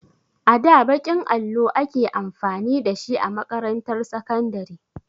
A da baƙin allo ake amfani da shi a makarantar sakandare.